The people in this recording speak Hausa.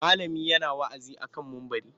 Malamin yana wa'azi a kan mumbari.